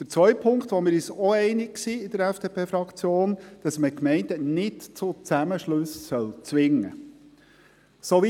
Der zweite Punkt, zu dem wir uns in der FDP-Fraktion auch einig sind, ist, dass man Gemeinden nicht zu Zusammenschlüssen zwingen soll.